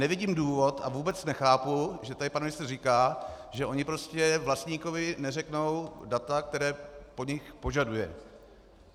Nevidím důvod a vůbec nechápu, že tady pan ministr říká, že oni prostě vlastníkovi neřeknou data, která po nich požaduje.